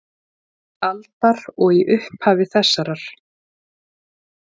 aldar og í upphafi þessarar.